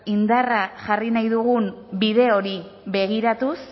indarra jarri nahi dugun bide hori begiratuz